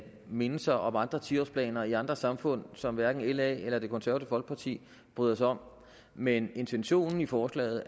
mindelser om andre tiårsplaner i andre samfund som hverken la eller det konservative folkeparti bryder sig om men intentionen i forslaget